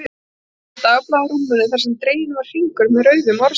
Hún skildi eftir dagblað á rúminu þar sem dreginn var hringur með rauðu um orðsendingu